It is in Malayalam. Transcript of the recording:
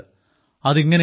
അത് ഇങ്ങനെയാണ്